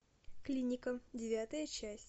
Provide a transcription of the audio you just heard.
клиника девятая часть